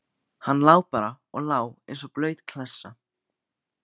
Hann lá bara og lá eins og blaut klessa.